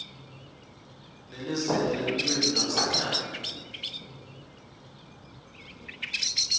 nelizingaa lelulwimi lwasekhaya